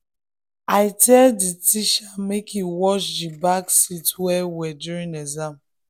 i tell the teacher make e watch the back seats well well during exam.